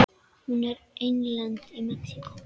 Hún er einlend í Mexíkó.